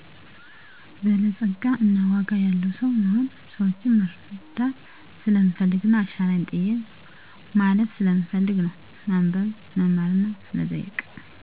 በላፀጋ እና ዋጋ ያለዉ ሰዉ መሆን። ሰወችን መረዳት ሰለምፈልግና አሻራየን ጥየ ማለፍም ስለምፈልግ ነው። ማንበብ; መማርና መጠየቅ